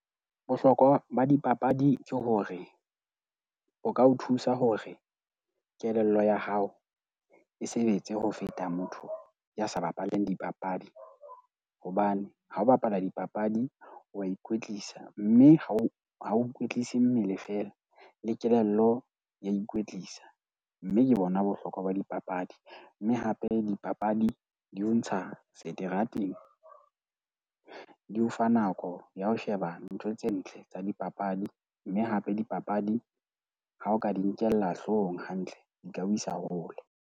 Bohlokwa ba dipapadi ke hore o ka o thusa hore kelello ya hao e sebetse ho feta motho ya sa bapaleng dipapadi. Hobane ha o bapala dipapadi, wa ikwetlisa mme ha o ha o ikwetlisa mmele feela le kelello ya ikwetlisa. Mme ke bona bohlokwa ba dipapadi. Mme hape dipapadi di o ntsha seterateng, di o fa nako ya ho sheba ntho tse ntle tsa dipapadi. Mme hape dipapadi ha o ka di nkella hloohong hantle, di tla o isa hole.